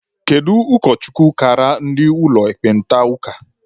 Kedu ụkọchukwu kaara ndị ụlọ ekpenta ụka?